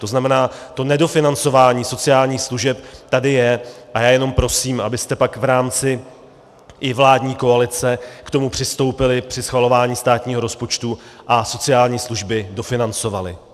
To znamená, to nedofinancování sociálních služeb tady je a já jenom prosím, abyste pak v rámci i vládní koalice k tomu přistoupili při schvalování státního rozpočtu a sociální služby dofinancovali.